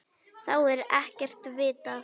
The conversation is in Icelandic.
Þá er ekkert vitað.